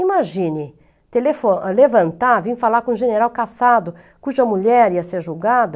Imagine, levantar, telefo, vir falar com o general cassado, cuja mulher ia ser julgada,